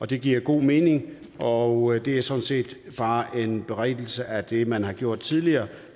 det giver god mening og det er sådan set bare en berigtigelse af det man har gjort tidligere